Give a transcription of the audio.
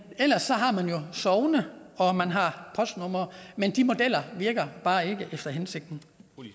ellers har man jo sogne og postnumre men de modeller virker bare ikke efter hensigten